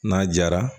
N'a jara